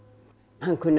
hann kunni að